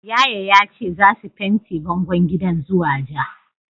Yaya yace zasu fente bangon gidan zuwa ja.